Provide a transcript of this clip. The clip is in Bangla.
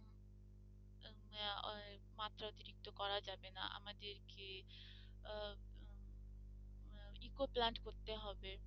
ঠিকতো করা যাবে না আমাদের কে আহ ecoplant করতে হবে